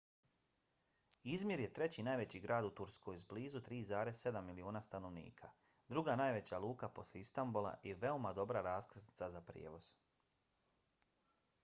izmir je treći najveći grad u turskoj s blizu 3,7 miliona stanovnika druga najveća luka poslije istanbula i veoma dobra raskrsnica za prijevoz